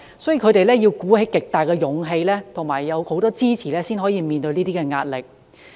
所以，他們要鼓起極大勇氣和得到很多支持，才能面對這些壓力。